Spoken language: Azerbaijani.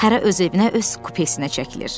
Hərə öz evinə öz kupesinə çəkilir.